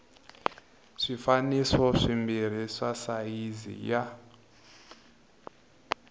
swifaniso swimbirhi swa sayizi ya